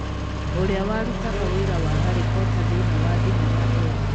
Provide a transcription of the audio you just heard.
ũrĩa warutaga wĩra wa Harry Porter thĩinĩ wa thenema ĩyo